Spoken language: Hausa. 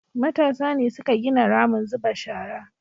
matasa ne suka gina ramin zuba shara